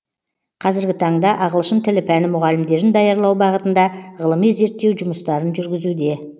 қазіргі таңда ағылшын тілі пәні мұғалімдерін даярлау бағытында ғылыми зерттеу жұмыстарын жүргізуде